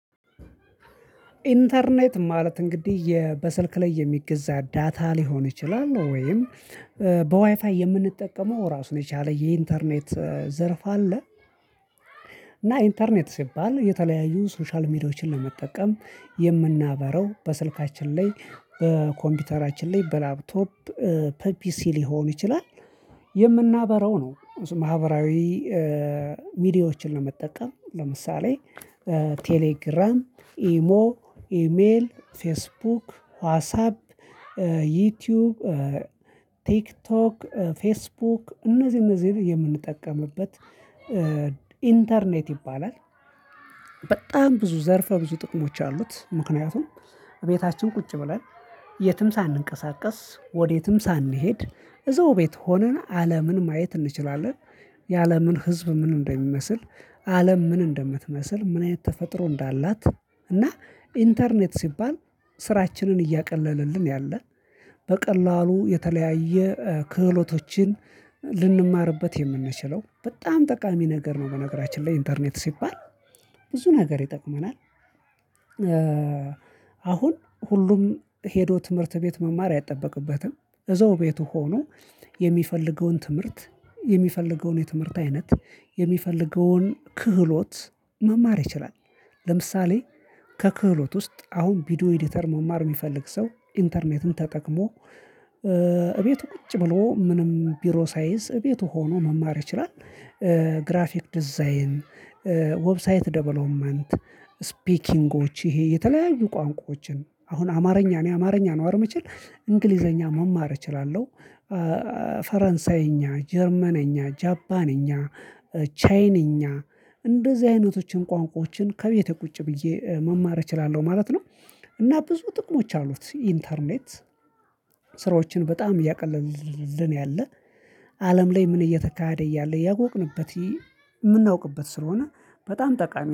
ኢንተርኔት ማለት እንግዲህ የ በስልክ ላይ የሚገዛ ዳታ ሊሆን ይችላል ወይም በዋይፋይ የምንጠቀመው ራሱን የቻለ የኢንተርኔት ዘርፍ አለ። እና ኢንተርኔት ሲባል የተለያዩ ሶሻል ሚዲያዎችን ለመጠቀም የምናበራው በስልካችን ላይ በኮምፒውተራችን ላይ በላፕቶፕ ፐፒሲ ሊሆን ይችላል የምናበራው ነው። ማህበራዊ ሚዲያዎችን ለመጠቀም ለምሳሌ ቴሌግራም ኢሞ ኢሜል ፌስቡክ ዋዝ ሀብ ዩቲዩብ ፌስቡክ እነዚህ እነዚህ የምንጠቀምበት ኢንተርኔት ይባላል። በጣም ብዙ ዘርፈ ብዙ ጥቅሞች አሉት ምክንያቱም እቤታችን ቁጭ ብለን የትም ሳንንቀሳቀስ ወዴትም ሳንሄድ እዛው ቤት ሆነን አለምን ማየት እንችላለን። የአለምን ህዝብ ምን እንደሚመስል አለም ምን እንደምትመስል ምን አይነት ተፈጥሮ እንዳላት እና ኢንተርኔት ሲባል ስራችንን እያቀለለልን ያለ በቀላሉ የተለያየ ክህሎቶችን ልንማርበት የምንችለው በጣም ጠቃሚ ነገር ነው። በነገራችን ላይ ኢንተርኔት ሲባል ብዙ ነገር ይጠቅመናል። አሁን ሁሉም ሄዶ ትምህርት ቤት መማር አይጠበቅበትም። እዛው ቤቱ ሆኖ የሚፈልገውን ትምህርት የሚፈልገውን የትምህርት አይነት የሚፈልገውን ክህሎት መማር ይችላል። ለምሳሌ ከክህሎት ውስጥ አሁን ቪዲዮ ኤዲተር መማር የሚፈልግ ሰው ኢንተርኔትን ተጠቅሞ እቤቱ ቁጭ ብሎ ምንም ቢሮ ሳይዝ እቤቱ ሆኖ መማር ይችላል። ግራፊክ ዲዛይን ዌብሳይት ዴቨሎፕመንት ስፒኪንጎች ይሄ የተለያዩ ቋንቋዎችን አሁን አማርኛ እኔ አማርኛ ነው አይደል ምችል እንግሊዘኛ መማር እችላለሁ። ፈረንሳይኛ ጀርመነኛ ጃባነኛ ቻይንኛ እንደዚህ አይነቶችን ቋንቋዎችን ከቤቴ ቁጭ ብዬ መማር እችላለሁ ማለት ነው። እና ብዙ ጥቅሞች አሉት ኢንተርኔት ስራዎችን በጣም እያቀለልን ያለ አለም ላይ ምን እየተካሄደ እያለ ያጎቅንበት የምናውቅበት ስለሆነ በጣም ጠቃሚ